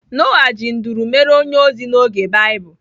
Noah ji nduru mere onye ozi n'oge Baịbụl.